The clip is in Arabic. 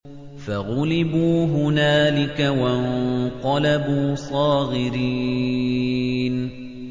فَغُلِبُوا هُنَالِكَ وَانقَلَبُوا صَاغِرِينَ